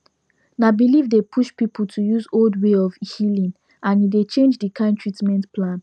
na belief dey push people to use old way of healing and e dey change the kind treatment plan